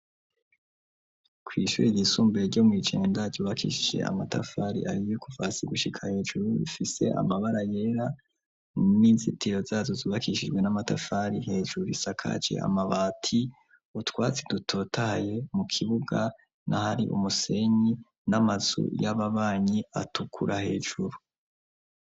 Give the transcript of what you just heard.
Kw'ishure ryisumbure ryo mw'i Jenda ryubakishije amatafari ahiye kuva hasi gushika hejuru rifise amabara yera, n'inzitiro zazo zubakishijwe n'amatafari, hejuru isakaje amabati, utwatsi dutotaye mu kibuga naho hari umusenyi, n'amazu y'ababanyi atukura hejuru.